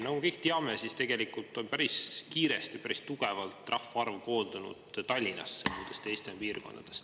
Nagu me kõik teame, tegelikult on päris kiiresti ja päris tugevalt rahvaarv koondunud Tallinnasse muudest Eesti piirkondadest.